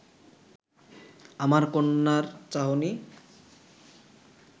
আমার কন্যার চাহনি